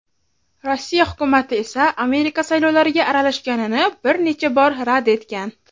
Rossiya Hukumati esa Amerika saylovlariga aralashganini bir necha bor rad etgan.